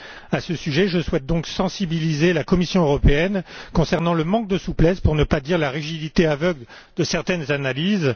À ce sujet, je souhaite donc sensibiliser la Commission européenne concernant le manque de souplesse, pour ne pas dire la rigidité aveugle de certaines analyses.